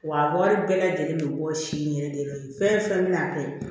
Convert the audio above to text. Wa a wari bɛɛ lajɛlen bɛ bɔ si in yɛrɛ de fɛn fɛn bɛ na kɛ